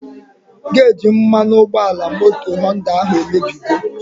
Geji mmanụ ụgbọala moto Họnda ahụ emebigo